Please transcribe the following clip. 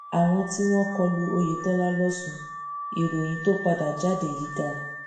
àwọn tí wọn kọlu oyetola losùn ìròyìn tó padà jáde yìí dáa